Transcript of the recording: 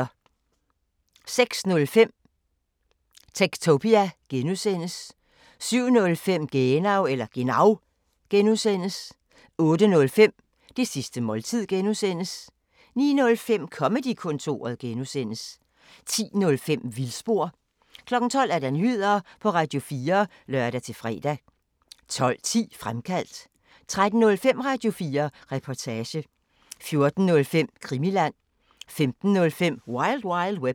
06:05: Techtopia (G) 07:05: Genau (G) 08:05: Det sidste måltid (G) 09:05: Comedy-kontoret (G) 10:05: Vildspor 12:00: Nyheder på Radio4 (lør-fre) 12:10: Fremkaldt 13:05: Radio4 Reportage 14:05: Krimiland 15:05: Wild Wild Web